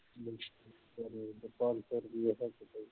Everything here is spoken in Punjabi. ਪੰਜ ਸੌ ਰੁਪਈਆ ਹੱਸ ਕੇ